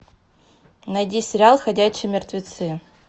найди сериал ходячие мертвецы